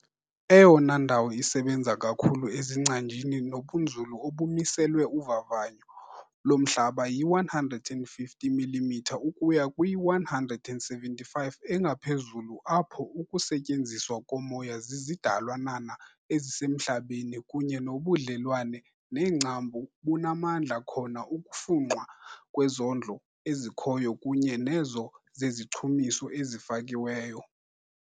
Eyona ndawo isebenza kakhulu ezingcanjini nobunzulu obumiselwe uvavanyo lomhlaba yi-150 mm ukuya kwi-175 engaphezulu apho ukusetyenziswa komoya zizidalwanana ezisemhlabeni kunye nobudlelwane neengcambu bunamandla khona ukufunxwa kwezondlo ezikhoyo kunye nezo zezichumiso ezifakiweyo.